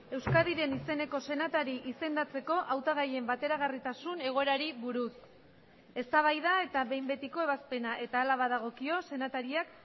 euskadiren izeneko senatari izendatzeko hautagaien bateragarritasun egoerari buruz eztabaida eta behin betiko ebazpena eta hala badagokio senatariak